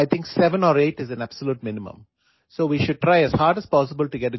মোৰ মতে ন্যূনতম সাতআঠ ঘণ্টা টোপনি অহাটো অতি প্ৰয়োজনীয়